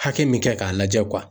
Hake min kɛ ka lajɛ